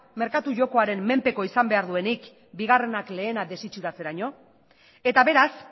merkatu jokoaren menpeko izan behar duenik bigarrenak lehena desitxuratzeraino eta beraz